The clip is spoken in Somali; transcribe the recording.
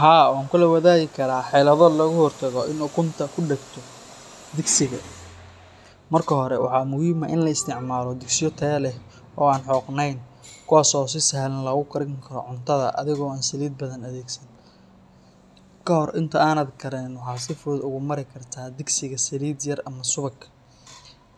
Haa wankulawadagi kara, helabo logahortago in ukunta kudagto digsiga, marka hore waxaa muxiim ah in laisticmalo digsiya oo an hogten, kuwas oo si salhan logukarin karoo bulshada, oo an salid badan, kahor inta adan karinin waxa si fudud ogamarin karta digsiga ama suwaqa,